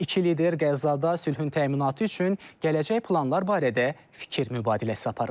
İki lider Qəzzada sülhün təminatı üçün gələcək planlar barədə fikir mübadiləsi aparıblar.